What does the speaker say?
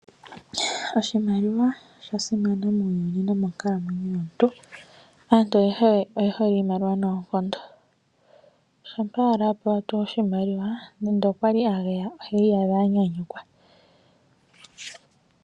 Oshimaliwa osha simana muuyuni nomonkalamwenyo yomuntu. Aantu ayehe oye hole iimaliwa noonkondo uuna tuu a pewa oshimaliwa nenge okwali a geya iha iyadha anyanyukwa.